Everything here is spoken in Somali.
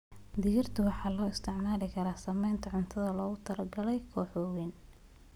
Digirta waxaa loo isticmaali karaa sameynta cunto loogu talagalay kooxo waaweyn.